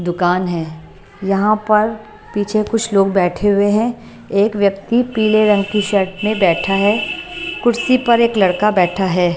दुकान है यहां पर पीछे कुछ लोग बैठे हुए हैं एक व्यक्ति पीले रंग की शर्ट में बैठा है कुर्सी पर एक लड़का बैठा है।